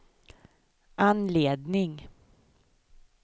anledning